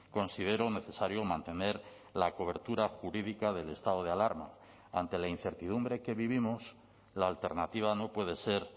considero necesario mantener la cobertura jurídica del estado de alarma ante la incertidumbre que vivimos la alternativa no puede ser